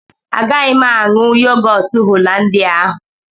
Agaghị m aṅụ yogọt holandia ahụ